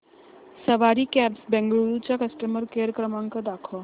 सवारी cabs Bengaluru चा customer care क्रमांक दाखवा